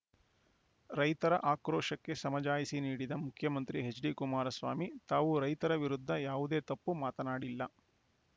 ರೈತರ ಆಕ್ರೋಶಕ್ಕೆ ಸಮಜಾಯಿಷಿ ನೀಡಿದ ಮುಖ್ಯಮಂತ್ರಿ ಎಚ್‌ಡಿಕುಮಾರಸ್ವಾಮಿ ತಾವು ರೈತರ ವಿರುದ್ಧ ಯಾವುದೇ ತಪ್ಪು ಮಾತನಾಡಿಲ್ಲ